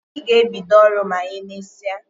Obi ga ebido oru ma emesia